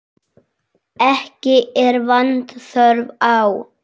Ekki er vanþörf á.